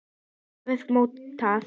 hafði mótað.